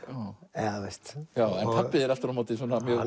eða þú veist en pabbi þinn aftur á móti